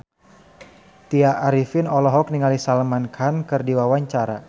Tya Arifin olohok ningali Salman Khan keur diwawancara